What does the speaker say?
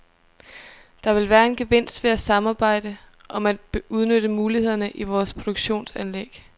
Der vil være en gevinst ved at samarbejde om at udnytte mulighederne i vores produktionsanlæg.